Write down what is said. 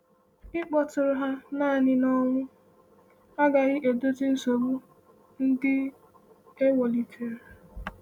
“Ịkpọtụrụ ha naanị n’ọnwụ agaghị edozi nsogbu ndị e welitere.”